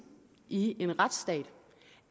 i en retsstat